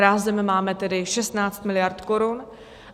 Rázem máme tedy 16 mld. korun.